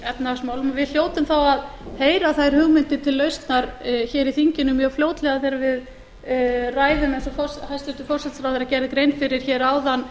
efnahagsmálum og við hljótum þá að heyra þær hugmyndir til lausnar hér í þinginu mjög fljótlega þegar við ræðum eins og hæstvirtur forsætisráðherra gerði grein fyrir hér áðan